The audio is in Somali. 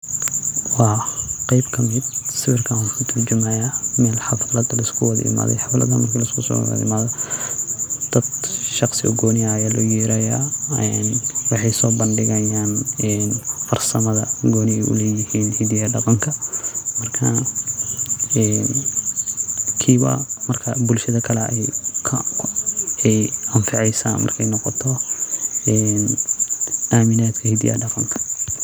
Wa qeeb kamid sawiirkan waxu katurjumayaa meel xaaflad laiskuwada iimaday xafladan marki laiskusowadaimada daad Shaqsi oo gooni ah Aya looyeerayaaa ee waxey sobandigayaan ee farsamadaa gooni ey u leeyahiin hidaha iyo dhaqanka marka ee kiiba marka buulshada kale ayeey anfaceysaa Markey noqoto ee aaminaadka hidaha iyo dhaaqanka .